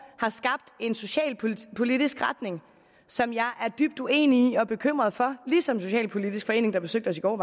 har skabt en socialpolitisk retning som jeg er dybt uenig i og bekymret for ligesom socialpolitisk forening der besøgte os i går